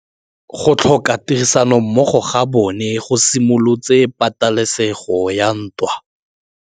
Go tlhoka tirsanommogo ga bone go simolotse patêlêsêgô ya ntwa.